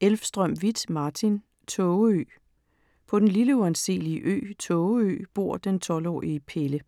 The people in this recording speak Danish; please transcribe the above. Elvstrøm-Vieth, Martin: Tågeø På den lille uanselige ø, Tågeø bor den 12-årige Pelle.